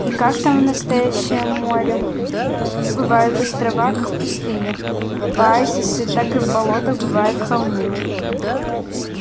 и как там в настоящем море бывают острова как в пустынях оазисы так и в болотах бывают холмы